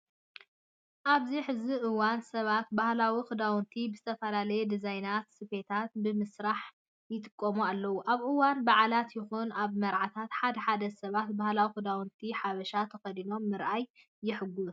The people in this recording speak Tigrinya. ኣብዚ ሕዚ እዋን ሰባት ባህላዊ ክዳውንቲ ብዝተፈላለዩ ድዛይናትን ስፌታትን ብምስራሕ ይጥቀሙ ኣለው። ኣብ እዋን በዓላት ይኹን ኣብ መርዓታት ሓደ ሓደ ሰባት ባህላዊ ክዳውንቲ ሓበሻ ተኸዲኖም ምርኣይ የህጉሶም።